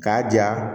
K'a ja